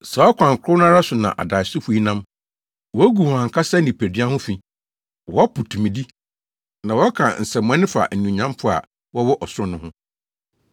Saa ɔkwan koro no ara so na adaesofo yi nam. Wugu wɔn ankasa nipadua ho fi. Wɔpo tumidi, na wɔka nsɛmmɔne fa anuonyamfo a wɔwɔ ɔsoro no ho.